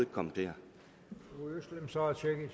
kommer til